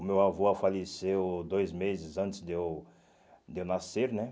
O meu avô ah faleceu dois meses antes de eu de eu nascer, né?